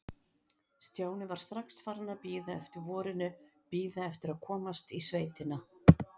Stjáni var strax farinn að bíða eftir vorinu, bíða eftir að komast í sveitina.